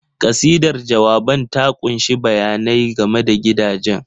Kasidar jawaban ta ƙunshi bayanai game da gidajen.